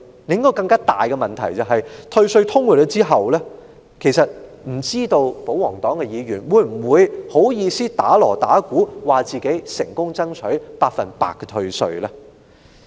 另一個更大的問題是，退稅通過後，不知道保皇黨議員會否好意思敲鑼打鼓，自稱成功爭取百分百退稅呢？